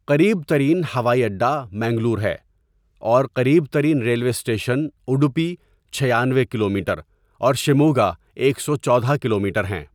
قریب ترین ہوائی اڈہ منگلور ہے اور قریب ترین ریلوے اسٹیشن اُڈپی، چھیانوے کلومیٹر، اور شیموگہ، ایک سو چودہ کلومیٹر ہیں۔